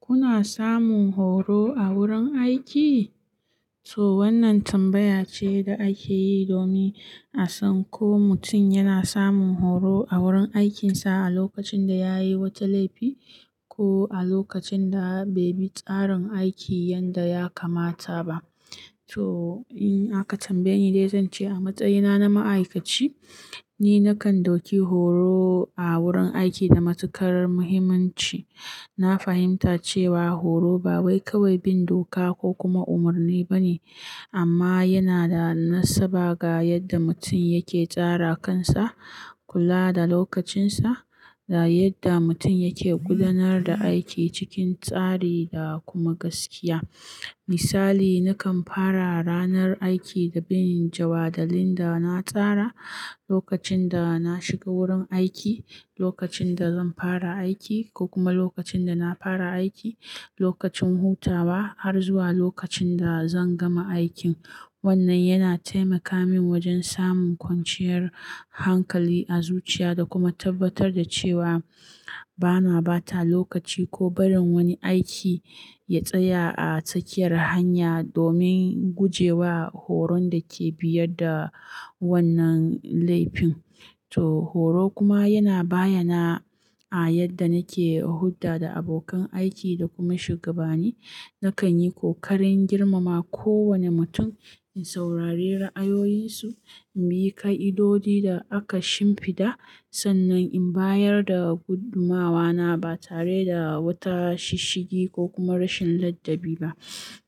Kuna samun horo a wurin aiki? To wannan tambaya ce da ake yi domin a san ko mutum yana samun horo a wurin aikinsa a lokacin da yayi wata laifi ko a lokacin da bai bi tsarin aiki yadda ya kamata ba. To in aka tambaye ni dai zan ce a matsayina na ma'aikaci, ni nakan dauki horo a wurin aiki da matuƙar muhimmanci. Na fahimta cewa horo ba wai kawai bin doka ko kuma umarni bane amma yana da nasaba ga yadda mutum yake tsara kansa, kula da lokacinsa da yadda mutum yake gudanar da aiki cikin tsari da kuma gaskiya. Misali, nakan fara ranar aiki da bin jawadalin da na tsara lokacin da na shiga wurin aiki, lokacin da zan fara aiki ko kuma lokacin da na fara aiki, lokacin hutawa har zuwa lokacin da zan gama aikin. Wannan yana taimaka min wajen samun kwanciyar hankali a zuciya da kuma tabbatar da cewa bana bata lokaci ko bari wani aiki ya tsaya a tsakiyar hanya domin guje wa horon da ke biyar da wannan laifin. To horo kuma yana bayana a yadda nake hulɗa da abokan aiki da kuma shugabani. Nakan yi kokarin girmama kowane mutum, in saurari ra'ayoyinsu, in bi ka'idodi da aka shimfiɗa sannan in bayar da gudumawana ba tare da wata shishigi ko kuma rashin ladabi ba.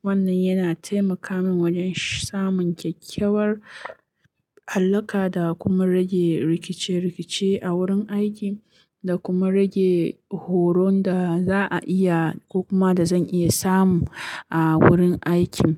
Wannan yana taimaka min wajen samun kyakkyawar alaƙa da kuma rage rikice-rikice a wurin aiki da kuma rage horon da za'a iya ko kuma da zan iya samu a wurin aikin.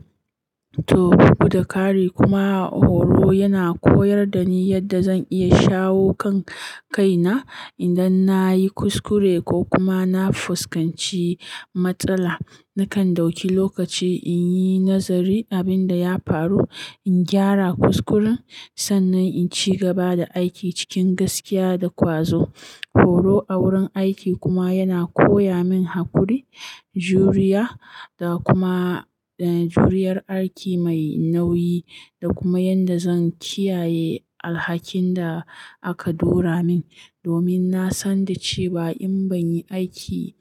To guda kari kuma horo yana koyar da ni yadda zan iya shawo kan kaina idan na yi kuskure ko kuma na fuskanci matsala. Nakan dauki lokaci in yi nazari abin da ya faru, in gyara kuskuren sannan in ci gaba da aiki cikin gaskiya da ƙwazo. Horo a wurin aiki kuma yana koya min haƙuri, juriya da kuma, eh, juriyar aiki mai nauyi da kuma yadda zan kiyaye alhakin da aka dora min domin na san da cewa in ban yi aiki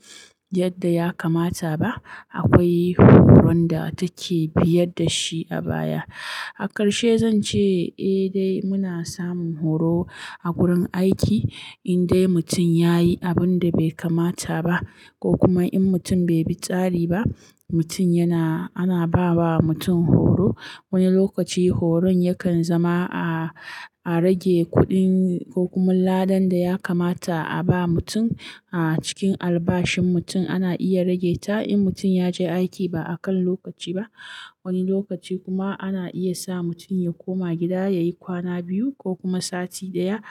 yadda ya kamata ba, akwai horon da take biyar da shi a baya. A ƙarshe zan ce eh dai muna samun horo a wurin aiki indai mutum ya yi abin da bai kamata ba ko kuma in mutum bai bi tsari ba, mutum yana-- ana ba wa mutum horo. Wani lokaci horon yakan zama a, a rage kuɗin ko kuma ladan da ya kamata a ba mutum. A cikin albashin mutum ana iya rage ta in mutum ya je aiki ba a kan lokaci ba. Wani lokaci kuma ana iya sa mutum ya koma gida ya yi kwana biyu ko kuma sati ɗaya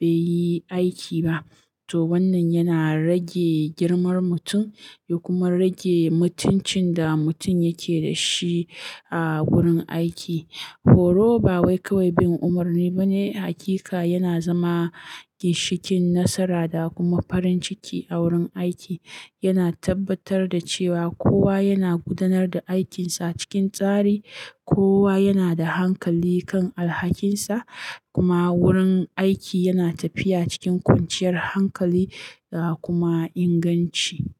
bai yi aiki ba. To wannan yana rage girmar mutum ya kuma rage mutuncin da mutum yake da shi a wurin aiki. Horo ba wai kawai bin umarni bane, hakika yana zama ginshikin nasara da kuma farin ciki a wurin aiki. Yana tabbatar da cewa kowa yana gudanar da aikinsa cikin tsari, kowa yana da hankali kan alhakinsa kuma wurin aiki yana tafiya cikin kwanciyar hankali da kuma inganci.